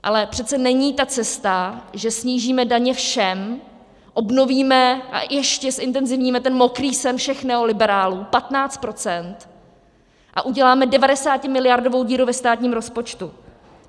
Ale přece není ta cesta, že snížíme daně všem, obnovíme a ještě zintenzivníme ten mokrý sen všech neoliberálů, 15 %, a uděláme 90miliardovou díru ve státním rozpočtu.